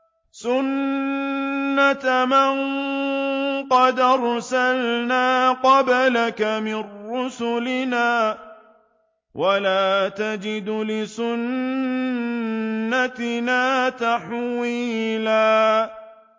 سُنَّةَ مَن قَدْ أَرْسَلْنَا قَبْلَكَ مِن رُّسُلِنَا ۖ وَلَا تَجِدُ لِسُنَّتِنَا تَحْوِيلًا